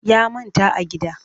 Ya manta a gida